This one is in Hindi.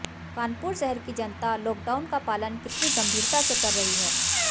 कानपुर शहर की जनता लॉकडाउन का पालन कितनी गंभीरता से कर रही है